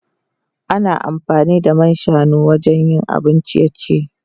Ana amfani da man shanu wajen yin abun ciye-ciye.